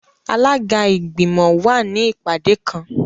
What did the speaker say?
Alaga igbimọ wa ni ipade kan.